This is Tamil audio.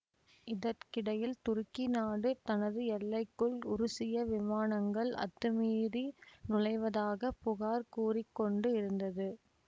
இதற்கிடையில் துருக்கி நாடு தனது எல்லைக்குள் உருசிய விமானங்கள் அத்துமீறி நுழைவதாக புகார் கூறி கொண்டு இருந்தது